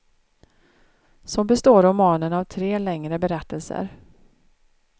Så består romanen av tre längre berättelser.